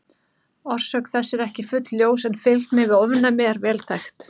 Orsök þess er ekki fullljós en fylgni við ofnæmi er vel þekkt.